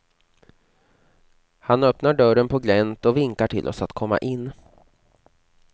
Han öppnar dörren på glänt och vinkar till oss att komma in.